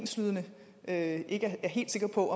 stillet af fru